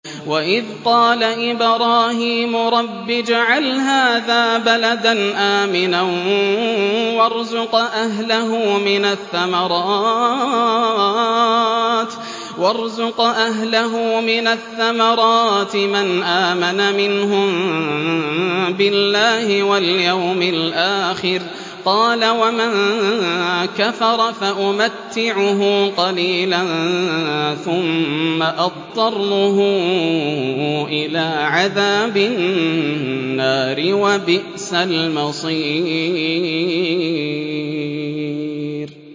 وَإِذْ قَالَ إِبْرَاهِيمُ رَبِّ اجْعَلْ هَٰذَا بَلَدًا آمِنًا وَارْزُقْ أَهْلَهُ مِنَ الثَّمَرَاتِ مَنْ آمَنَ مِنْهُم بِاللَّهِ وَالْيَوْمِ الْآخِرِ ۖ قَالَ وَمَن كَفَرَ فَأُمَتِّعُهُ قَلِيلًا ثُمَّ أَضْطَرُّهُ إِلَىٰ عَذَابِ النَّارِ ۖ وَبِئْسَ الْمَصِيرُ